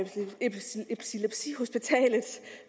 sige